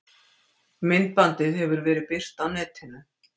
Myndbandið hefur verið birt á netinu